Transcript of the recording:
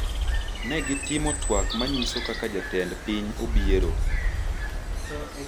ne gitimo twak ma nyiso kaka jatend piny Obiero